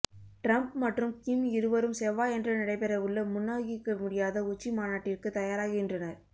Trump மற்றும் Kim இருவரும் செவ்வாயன்று நடைபெறவுள்ள முன்னூகிக்க முடியாத உச்சிமாநாட்டிற்கு தயாராகின்றனர்